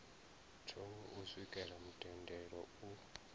thungo u swikela mutendelo u